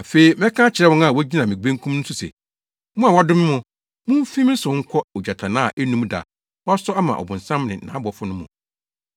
“Afei mɛka akyerɛ wɔn a wogyina me benkum so no se, ‘Mo a wɔadome mo, mumfi me so nkɔ ogyatannaa a ennum da a wɔasɔ ama ɔbonsam ne nʼabɔfo no mu.